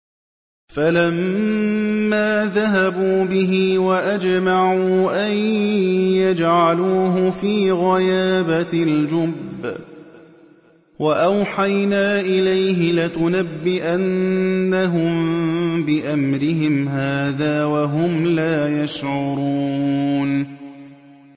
فَلَمَّا ذَهَبُوا بِهِ وَأَجْمَعُوا أَن يَجْعَلُوهُ فِي غَيَابَتِ الْجُبِّ ۚ وَأَوْحَيْنَا إِلَيْهِ لَتُنَبِّئَنَّهُم بِأَمْرِهِمْ هَٰذَا وَهُمْ لَا يَشْعُرُونَ